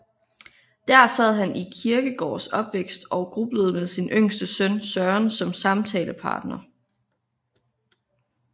Der sad han i Kierkegaards opvækst og grublede med sin yngste søn Søren som samtalepartner